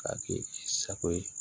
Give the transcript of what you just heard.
K'a kɛ i sago ye